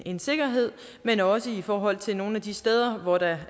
en sikkerhed men også i forhold til nogle af de steder hvor der